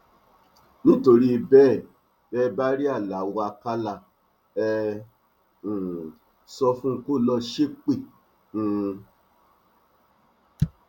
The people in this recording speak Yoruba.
nítorí bẹẹ bẹ ẹ bá rí aláo àkàlà ẹ um sọ fún un kó lọọ ṣépè um